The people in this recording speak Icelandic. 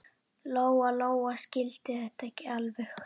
Lóa-Lóa skildi þetta ekki alveg.